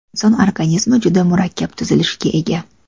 Inson organizmi juda murakkab tuzilishga ega.